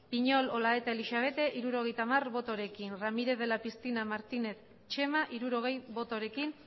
piñol olaeta elixabete hirurogeita hamar botorekin ramírez de la piscina martínez txema hirurogei botorekin